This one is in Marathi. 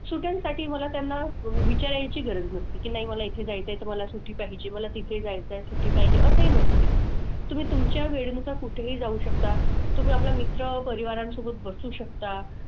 सुट्ट्यांसाठी मला त्यांना गरज नसते की नाही मला इथे जायचंय तर मला सुट्टी पाहिजे. मला तिथे जायचंय सुट्टी पाहिजे असंही नसते. तुम्ही तुमच्या वेळेनुसार कुठेही जाऊ शकता. तुम्ही आपल्या मित्रपरिवारांसोबत बसू शकता.